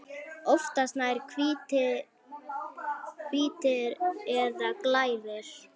Oftast nær hvítir eða glærir.